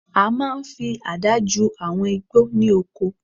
A máa n fi àdá ju àwọn igbó ní oko